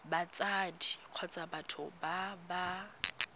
batsadi kgotsa batho ba ba